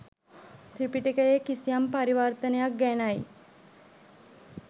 ත්‍රිපිටකයේ “කිසියම්” පරිවර්තනයක් ගැනයි.